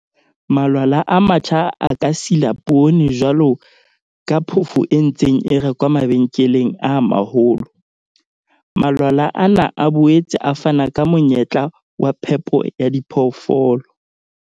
Malwala a matjha a ka sila poone jwalo ka phofo e ntseng e rekwa mabenkeleng a maholo. Malwala ana a boetse a fana ka monyetla wa phepo ya diphoofolo.